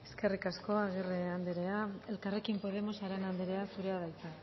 eskerrik asko agirre andrea elkarrekin podemos arana andrea zurea da hitza